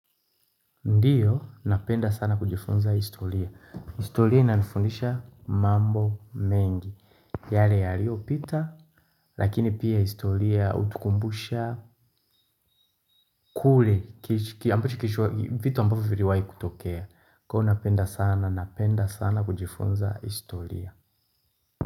Ndio, napenda sana kujifunza historia. Historia inanifundisha mambo mengi. Yale yaliyopita, lakini pia historia hutukumbusha kule, ambacho kilicho vitu ambavyo viliwahi kutokea. Kwa hivyo napenda sana, napenda sana kujifunza historia.